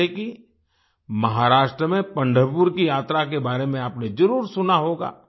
जैसे कि महाराष्ट्र में पंढरपुर की यात्रा के बारे में आपने जरुर सुना होगा